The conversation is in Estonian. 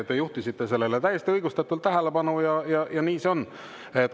Te juhtisite sellele täiesti õigustatult tähelepanu ja nii see on.